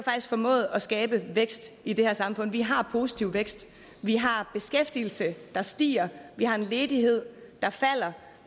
formået at skabe vækst i det her samfund vi har positiv vækst vi har beskæftigelse der stiger vi har en ledighed der falder